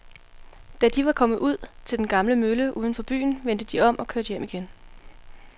Da de var kommet ud til den gamle mølle uden for byen, vendte de om og kørte hjem igen.